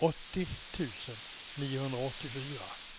åttio tusen niohundraåttiofyra